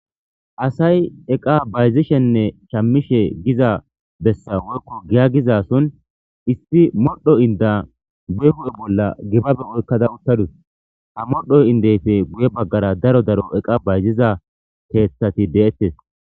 Asay eqa bayizishine shamishe giza besa woyikko giya giza so issi madho ida giya guye bola dimabe oyikada utadus ha modho indoze guye bagara daro daro iqa shayiziza keeththati de'ates.